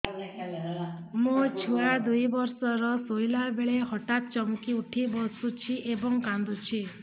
ମୋ ଛୁଆ ଦୁଇ ବର୍ଷର ଶୋଇଲା ବେଳେ ହଠାତ୍ ଚମକି ଉଠି ବସୁଛି ଏବଂ କାଂଦୁଛି